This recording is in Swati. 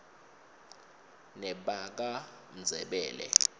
nebakamndzebele